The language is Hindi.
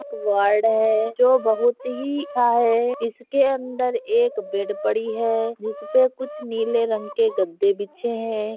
एक वार्ड है जो बहुत ही अच्छा है इसके अंदर बेड पड़ी है जिसपे कुछ नीले रंग के गद्दे बिछे है।